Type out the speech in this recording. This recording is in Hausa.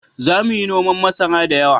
Za mu yi noman masara da yawa